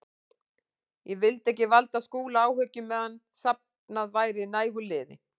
Ég vildi ekki valda Skúla áhyggjum meðan safnað væri nægu liði.